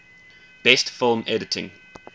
best film editing